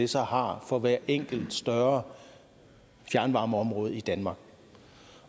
så har for hver enkelt større fjernvarmeområde i danmark